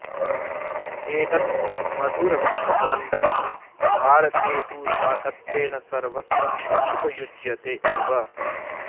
एतत् मधुरकूष्माण्डं भारते तु शाकत्वेन सर्वत्र उपयुज्यते एव